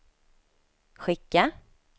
skicka